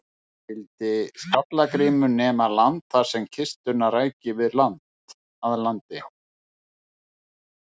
Skyldi Skalla-Grímur nema land þar sem kistuna ræki að landi.